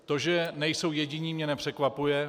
To, že nejsou jediní, mě nepřekvapuje.